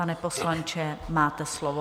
Pane poslanče, máte slovo.